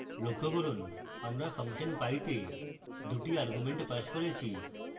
লক্ষ্য করুন আমরা ফাংশন pie তে দুটি arguments passed করেছি